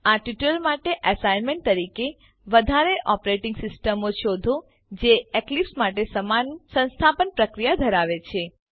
આ ટ્યુટોરીયલ માટે એસાઈનમેંટ તરીકે વધારે ઓપરેટીંગ સીસ્ટમો શોધો જે એક્લીપ્સ માટે સમાન સંસ્થાપન પ્રક્રિયા ધરાવે છે